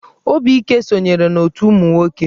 Obike sonyere n'otù ụmụ nwoke.